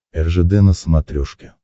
ржд на смотрешке